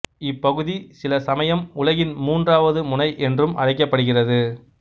இப்பகுதி சில சமயம் உலகின் மூன்றாவது முனை என்றும் அழைக்கப்படுகிறது